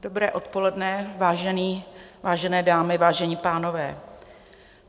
Dobré odpoledne, vážené dámy, vážení pánové.